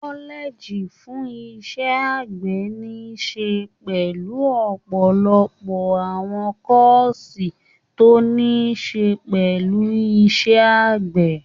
Kọ́lẹ́ẹ́gì fún iṣẹ́ àgbẹ̀ níí ṣe pẹ̀lú ọ̀pọ̀lọpọ̀ àwọn kọ́ọ̀sì tó níí ṣe pẹ̀lú iṣẹ́ àgbè.